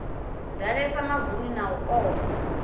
ḓalesa mavuni na u oma